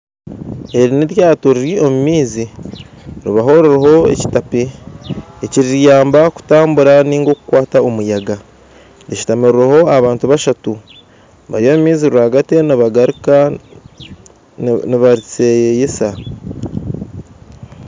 Eri n'eryato riri omu maizi ribaho ririho ekitape ekiriyamba kutambura ninga okukwata omuyaga rishutamirweho abantu bashatu bari omu maizi rwagati nibagaruka nibariseyeyesa